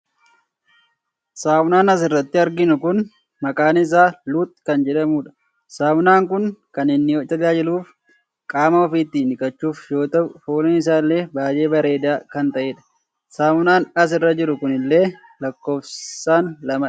Sammuunaan asiirrati arginu kun maqaan isaa "lux" kan jedhamuudha. Sammuunaan kun kan inni tajaajiluuf qaama ofii ittiin dhiqachuuf yoo tahu fooliin isaa illee baayee bareedaa kan tahedha. Sammuunaan asirra jiru kunillee lakkoofsaan lamadha.